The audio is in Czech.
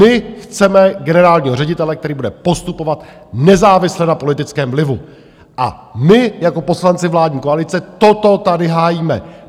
My chceme generálního ředitele, který bude postupovat nezávisle na politickém vlivu, a my jako poslanci vládní koalice toto tady hájíme.